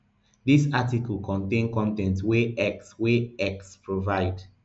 dis article contain con ten t wey x wey x provide